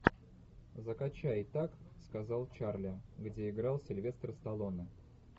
закачай так сказал чарли где играл сильвестр сталлоне